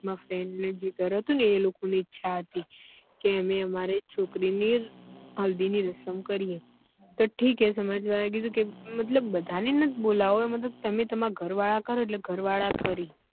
મારા friend નું જે ઘર હતું એ લોકો ને ઈચ્છા હતી કે અમે અમારી છોકરી ની હલ્દી ની રસમ કરીએ તો ઠીક હૈ સમાજ વાળા એ કીધું કે મતલબ બધા ને મત બોલવો તમે તમારા ઘર વાળા કરો એટલે ઘર વાળા કરી